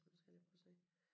Nu skal jeg lige prøve at se